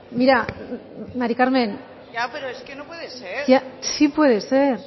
mira mari carmen ya pero es que no puede ser